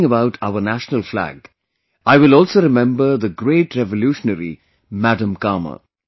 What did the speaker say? Talking about our national flag, I will also remember the great revolutionary Madam Cama